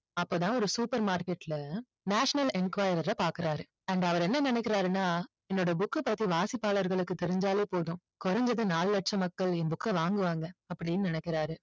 அப்போதான் ஒரு supermarket ல national enquirer அ பாக்குறாரு and அவரு என்ன நினைக்கிறாருன்னா என்னோட book அ பத்தி வாசிப்பாளர்களுக்கு தெரிஞ்சாலே போதும் குறைஞ்சது நாலு லட்சம் மக்கள் என் book அ வாங்குவாங்க அப்படின்னு நினைக்கறாரு